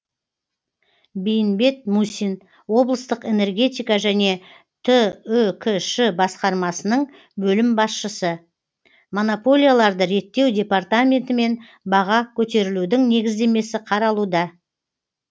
бейімбет мусин облыстық энергетика және түкш басқармасының бөлім басшысы монополияларды реттеу департаментімен баға көтерілудің негіздемесі қаралуда